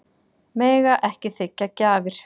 Mega ekki þiggja gjafir